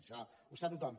això ho sap tothom